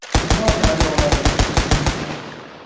Dunyo daryolari Nil.